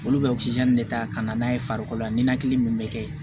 Olu bɛ de ta ka na n'a ye farikolo la ninakili min bɛ kɛ yen